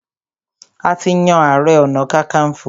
A ti yan ààrẹ-ọ̀nà-kakanfò.